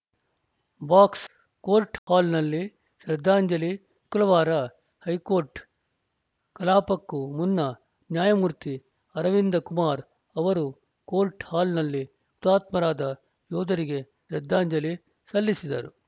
ಬಾಕ್ಸ್‌ಕೋರ್ಟ್‌ ಹಾಲ್‌ನಲ್ಲಿ ಶ್ರದ್ಧಾಂಜಲಿ ಶುಕ್ರವಾರ ಹೈಕೋರ್ಟ್‌ ಕಲಾಪಕ್ಕೂ ಮುನ್ನ ನ್ಯಾಯಮೂರ್ತಿ ಅರವಿಂದ ಕುಮಾರ್‌ ಅವರು ಕೋರ್ಟ್‌ ಹಾಲ್‌ನಲ್ಲಿ ಹುತಾತ್ಮರಾದ ಯೋಧರಿಗೆ ಶ್ರದ್ಧಾಂಜಲಿ ಸಲ್ಲಿಸಿದರು